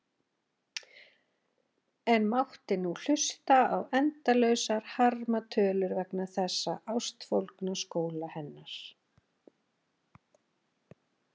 En mátti nú hlusta á endalausar harmatölur vegna þessa ástfólgna skóla hennar.